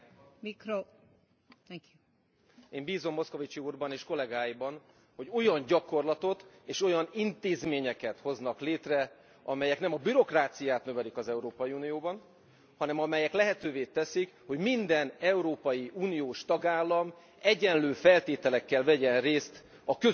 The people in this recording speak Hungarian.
Én bízom Moscovici úrban és kollégáiban, hogy olyan gyakorlatot és olyan intézményeket hoznak létre, amelyek nem a bürokráciát növelik az Európai Unióban, hanem amelyek lehetővé teszik, hogy minden európai uniós tagállam egyenlő feltételekkel vegyen részt a közös uniós sorsunk alakításában.